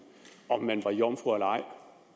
om man var jomfru eller ej